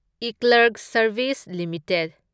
eClerx service limited